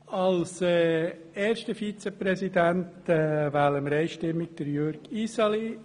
Als ersten Grossratsvizepräsidenten wählen wir einstimmig Jürg Iseli.